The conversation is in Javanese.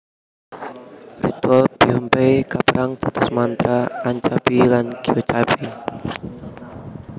Ritual Beompae kaperang dados mantra anchabi lan geotchaebi